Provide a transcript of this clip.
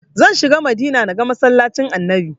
Zan shiga Madina na ga masallacin annabi